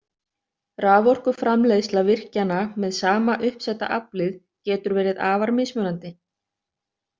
Raforkuframleiðsla virkjana með sama uppsetta aflið getur verið afar mismunandi.